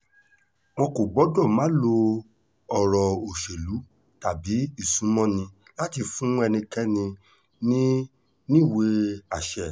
wọn kò gbọ́dọ̀ máa lo ọ̀rọ̀ òṣèlú tàbí ìsúnmọ́ni láti fún ẹnikẹ́ni níníwèé àṣẹ